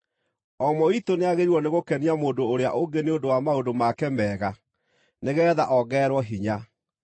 O ũmwe witũ nĩagĩrĩirwo nĩgũkenia mũndũ ũrĩa ũngĩ nĩ ũndũ wa maũndũ make mega, nĩgeetha ongererwo hinya.